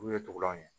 Olu ye tubulanw ye